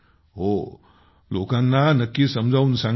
हो लोकांना नक्की समजावून सांगा